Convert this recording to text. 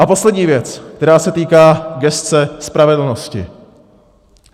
A poslední věc, která se týká gesce spravedlnosti.